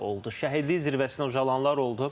Şəhidlik zirvəsinə ucalanlar oldu.